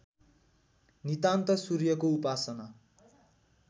नितान्त सूर्यको उपासना